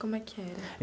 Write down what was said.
Como é que era?